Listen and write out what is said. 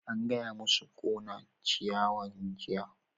An gaya masu su ƙona ciyawan jiya!